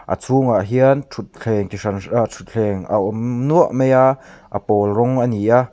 a chhung ah hian thutthleng chi hran hran ahh thutthleng a awm nuah mai a a pawl rawng a ni a.